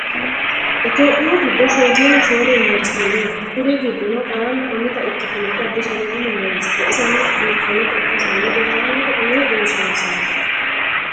Itopiyu giddo shoyilina shoole university noo kuri giddono qarana umitta ikitinoti Addis Ababu universityti isenno biifanota ikkasenni rosaanote umi doorishshanisaati